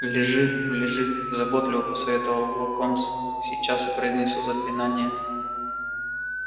лежи лежи заботливо посоветовал локонс сейчас я произнесу заклинание